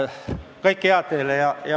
Kõike head teile!